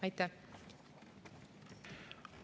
Aitäh!